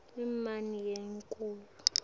inyama yenkhukhu